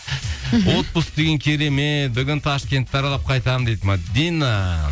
мхм отпуск деген керемет бүгін ташкентті аралап қайтамын дейді мәдина